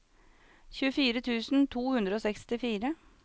tjuefire tusen to hundre og sekstifire